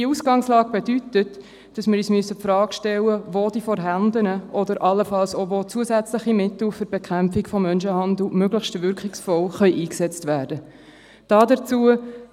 Diese Ausgangslage bedeutet, dass wir uns die Frage stellen müssen, wo die vorhandenen oder allenfalls auch zusätzliche Mittel zur Bekämpfung von Menschenhandel möglichst wirkungsvoll eingesetzt werden können.